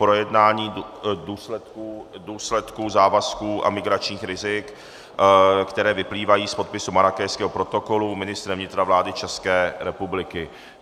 Projednání důsledků závazků a migračních rizik, které vyplývají z podpisu Marrákešského protokolu ministrem vnitra vlády České republiky